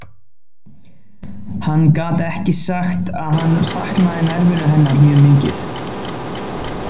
Hann gat ekki sagt að hann saknaði nærveru hennar mjög mikið.